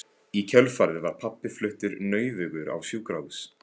Í kjölfarið var pabbi fluttur nauðugur á sjúkrahús.